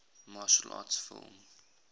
martial arts film